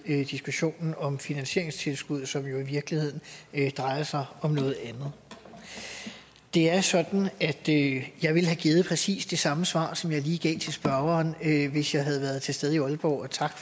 diskussionen om finansieringstilskuddet som jo i virkeligheden drejer sig om noget andet det er sådan at jeg ville have givet præcis det samme svar som jeg lige gav til spørgeren hvis jeg havde været til stede i aalborg og tak